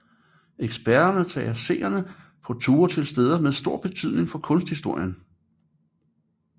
Eksperterne tager seerne på ture til steder med stor betydning for kunsthistorien